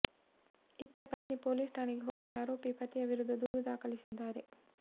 ಇತ್ತ ಪತ್ನಿ ಪೊಲೀಸ್ ಠಾಣೆಗೆ ಹೋಗಿ ಆರೋಪಿ ಪತಿಯ ವಿರುದ್ಧ ದೂರು ದಾಖಲಿಸಿದ್ದಾರೆ